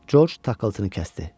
Corc tıqqıltını kəsdi.